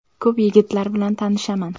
Ko‘p yigitlar bilan tanishman.